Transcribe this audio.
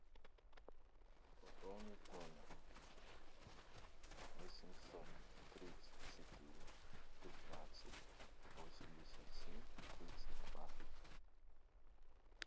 пополнить номер восемьсот тридцать четыре пятнадцать восемьдесят семь тридцать два